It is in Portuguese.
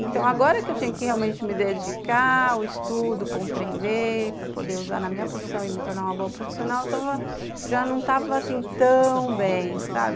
Então, agora que eu tinha que realmente me dedicar ao estudo, compreender, para poder usar na minha profissão e me tornar uma boa profissional, já não estava assim tão bem, sabe?